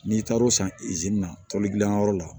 N'i taar'o san na toli gilan yɔrɔ la